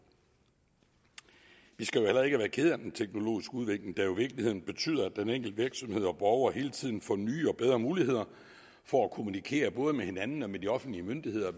vi skal heller ikke være kede af den teknologiske udvikling der jo i virkeligheden betyder at den enkelte virksomhed og borgere hele tiden får nye og bedre muligheder for at kommunikere både med hinanden og med de offentlige myndigheder